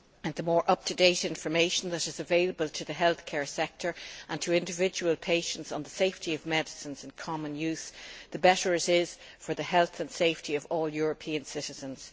The more up to date information available to the healthcare sector and to individual patients on the safety of medicines in common use, the better it is for the health and safety of all European citizens.